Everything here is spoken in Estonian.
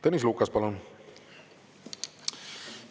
Tõnis Lukas, palun!